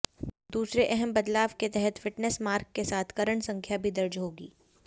दूसरे अहम बदलाव के तहत फिटनेस मार्क के साथ कैरेट संख्या भी दर्ज होगी